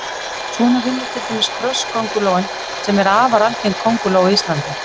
Svona vinnur til dæmis krosskóngulóin sem er afar algeng kónguló á Íslandi.